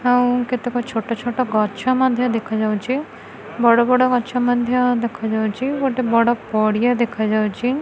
ଆଉ କେତେକ ଛୋଟ ଛୋଟ ଗଛ ମଧ୍ୟ ଦେଖାଯାଉଛି ବଡ଼ ବଡ଼ ଗଛ ମଧ୍ୟ ଦେଖାଯାଉଛି ଗୋଟେ ବଡ଼ ପଡ଼ିଆ ଦେଖାଯାଉଛି।